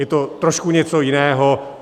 Je to trošku něco jiného.